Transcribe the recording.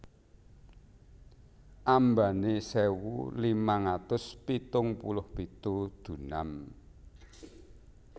Ambané sewu limang atus pitung puluh pitu dunam